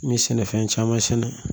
N ye sɛnɛfɛn caman sɛnɛ